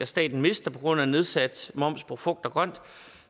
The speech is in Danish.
staten mister på grund af en nedsat moms på frugt og grønt